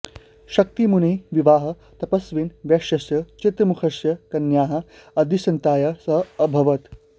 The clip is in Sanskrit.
शक्तिमुनेः विवाहः तपस्विनः वैश्यस्य चित्रमुखस्य कन्यया अदृश्यन्त्या सह अभवत्